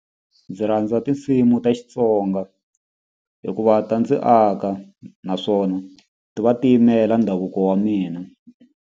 Ndzi rhandza tinsimu ta Xitsonga hikuva ta ndzi aka naswona ti va ti yimela ndhavuko wa mina.